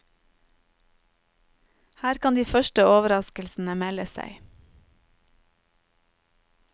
Her kan de første overraskelsene melde seg.